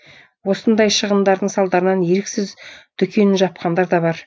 осындай шығындардың салдарынан еріксіз дүкенін жапқандар да бар